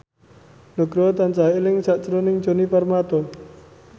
Nugroho tansah eling sakjroning Djoni Permato